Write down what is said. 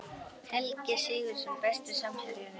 Helgi Sigurðsson Besti samherjinn?